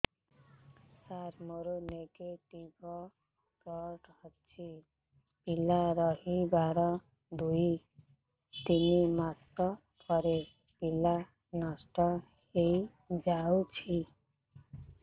ସାର ମୋର negative blood ଅଛି ପିଲା ରହିବାର ଦୁଇ ତିନି ମାସ ପରେ ପିଲା ନଷ୍ଟ ହେଇ ଯାଉଛି